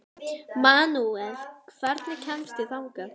Manuel, hvernig kemst ég þangað?